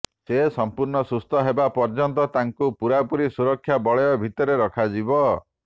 ସେ ସଂପୂର୍ଣ୍ଣ ସୁସ୍ଥ ହେବା ପର୍ଯ୍ୟନ୍ତ ତାଙ୍କୁ ପୂରାପୂରି ସୁରକ୍ଷା ବଳୟ ଭିତରେ ରଖାଯିବ